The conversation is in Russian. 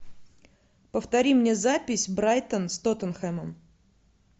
повтори мне запись брайтон с тоттенхэмом